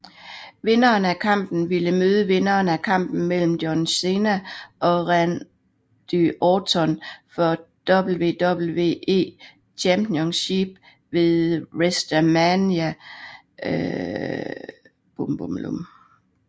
Vinderen af kampen ville møde vinderen af kampen mellem John Cena og Randy Orton for WWE Championship ved WresteMania XXIV